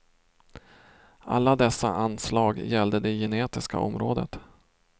Alla dessa anslag gällde det genetiska området.